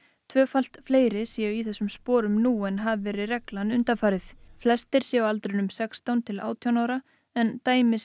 tvöfalt fleiri séu í þessu sporum nú en hafi verið reglan undanfarin flestir séu á aldrinu sextán til átján ára en dæmi